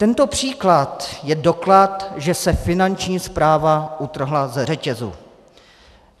Tento příklad je doklad, že se Finanční správa utrhla ze řetězu.